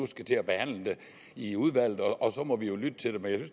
skal til at behandle det i udvalget og så må vi lytte til det men